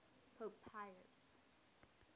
pope pius